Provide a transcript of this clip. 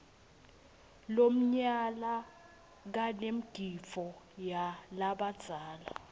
lomnyala kanemgidvo walabadzala